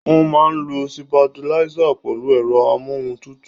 Wọ́n máa ń lo sitabiláísì pẹ̀lú ẹ̀rọ amóhun tutù.